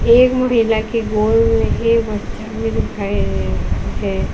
एक मुड़ी हिलाके गोल है।